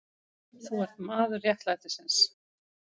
Þú ert maður réttlætisins.